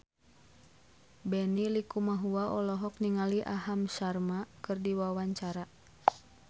Benny Likumahua olohok ningali Aham Sharma keur diwawancara